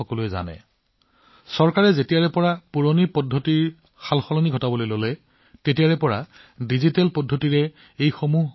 যিহেতু চৰকাৰে পুৰণি প্ৰথাবোৰ সলনি কৰা আৰম্ভ কৰিছিল এই ফাইল আৰু কাগজবোৰ ডিজিটাইজ কৰি কম্পিউটাৰ ফল্ডাৰত ৰখা হৈছে